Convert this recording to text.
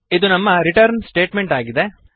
ಇದು ನಮ್ಮ return statement ಆಗಿದೆ